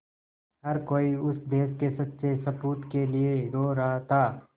हर कोई उस देश के सच्चे सपूत के लिए रो रहा था